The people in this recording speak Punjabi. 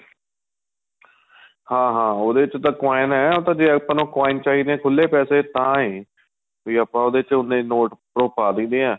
ਹਾਂ ਹਾਂ ਉਹਦੇ ਚ ਤਾਂ coin ਏ ਜੇ ਆਪਾਂ ਨੂੰ coin ਚਾਹੀਦੇ ਏ ਖੁੱਲੇ ਪੈਸੇ ਤਾਂ ਏ ਵੀ ਆਪਾਂ ਉਹਦੇ ਚ ਉੰਨੇ ਨੋਟ ਉੱਪਰੋ ਪਾਂਹ ਦਈਦੇ ਏ